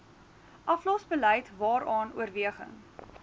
aflosbeleid waaraan oorweging